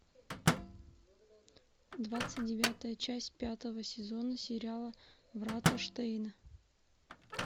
двадцать девятая часть пятого сезона сериала врата штейна